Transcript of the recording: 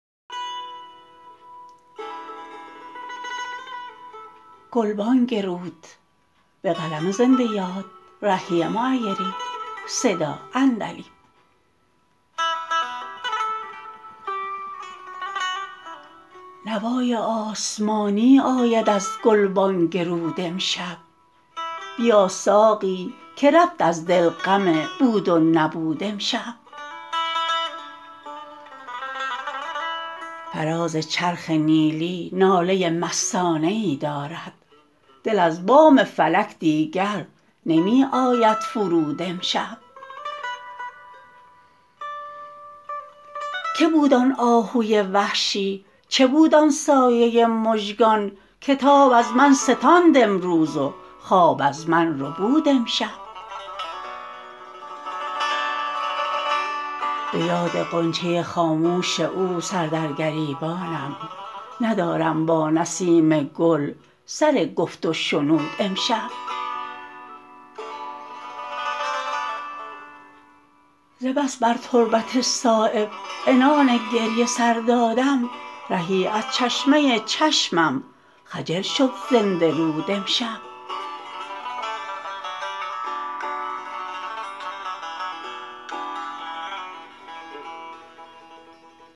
نوای آسمانی آید از گلبانگ رود امشب بیا ساقی که رفت از دل غم بود و نبود امشب فراز چرخ نیلی ناله مستانه ای دارد دل از بام فلک دیگر نمی آید فرود امشب که بود آن آهوی وحشی چه بود آن سایه مژگان که تاب از من ستاند امروز و خواب از من ربود امشب به یاد غنچه خاموش او سر در گریبانم ندارم با نسیم گل سر گفت و شنود امشب ز بس بر تربت صایب عنان گریه سر دادم رهی از چشمه چشمم خجل شد زنده رود امشب